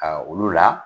olu la